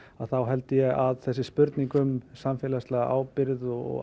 þá held ég að þessi spurning um samfélagslega ábyrgð og